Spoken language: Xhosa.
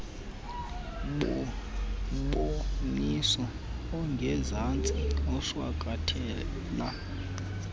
mboniso ungezantsi ushwankathela